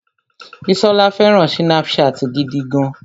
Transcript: Bísọ́lá fẹràn Snapchat gidi gan.